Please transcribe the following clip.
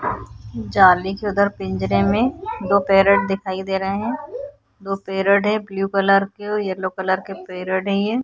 जाली के उधर पिंजरे में दो पैरेट दिखाई दे रहे हैं। दो पैरेट हैं ब्लू कलर के और येलो कलर के पैरेट हैं ये ।